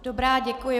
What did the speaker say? Dobrá, děkuji.